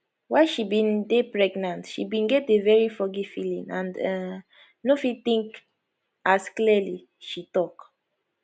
while she bin dey pregnant she bin get a very foggy feeling and um no fit think as clearly she tok